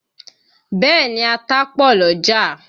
Bẹ́ẹ̀ni, ata pọ̀ l'ọ́jà